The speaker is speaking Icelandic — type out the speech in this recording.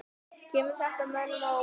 Kemur þetta mönnum á óvart?